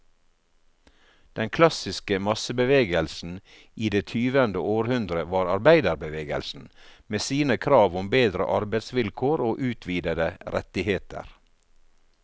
Den klassiske massebevegelsen i det tyvende århundre var arbeiderbevegelsen, med sine krav om bedre arbeidsvilkår og utvidede rettigheter.